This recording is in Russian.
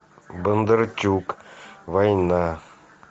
бондарчук война